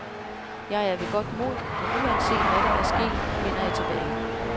Jeg er ved godt mod, og uanset, hvad der er sket, vender jeg tilbage.